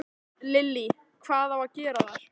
Lillý: Hvað á að gera þar?